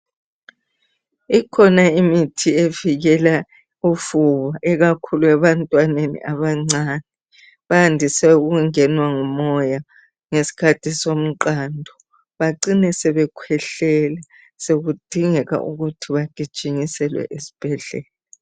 Ikhona imithi evikela ufuba ikakhulu ebantwaneni abancane, bandise ukungenwa ngumoya ngesikhathi somqando bacine sebekhwehlela sekudingeka ukuthi bagijinjyiselwe esibhedlela